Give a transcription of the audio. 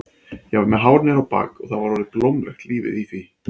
Ég var með hár niður á bak og það var orðið blómlegt lífið í því.